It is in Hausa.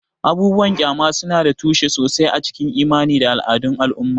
Abubuwan ƙyama suna da tushe sosai a cikin imani da al'adun al'umma.